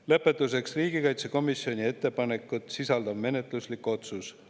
Lõpetuseks riigikaitsekomisjoni ettepanekut sisaldav menetluslik otsus.